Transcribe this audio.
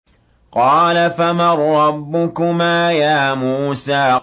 قَالَ فَمَن رَّبُّكُمَا يَا مُوسَىٰ